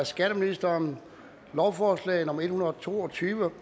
skatteministeren lovforslag nummer l en hundrede og to og tyve